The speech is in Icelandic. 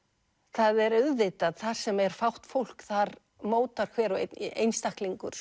það er auðvitað þar sem er fátt fólk þar mótar hver og einn einstaklingur